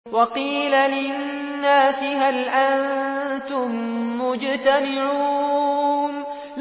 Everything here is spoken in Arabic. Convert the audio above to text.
وَقِيلَ لِلنَّاسِ هَلْ أَنتُم مُّجْتَمِعُونَ